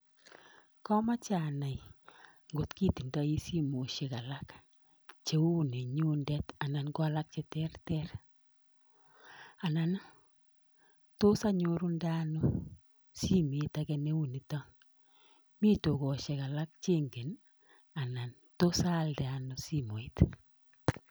Komoche anai ngot itindoi simoisiek alak cheuninyuun anan ko alak che terter. Anan tos anyorundei ano simet neunitok? Mi tukosiek alak che ingeen i? anan tos aaldei ano simoit?